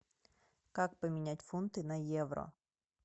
как поменять фунты на евро